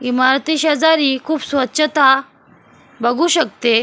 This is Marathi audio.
इमारतीशेजारी खूप स्वच्छता बघू शकते.